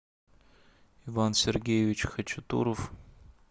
иван сергеевич хачатуров